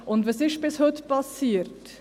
Und was ist bis heute passiert?